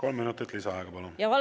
Kolm minutit lisaaega, palun!